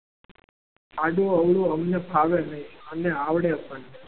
આડુ અવળું અમને ફાવે નહીં અને આવડે પણ નહીં.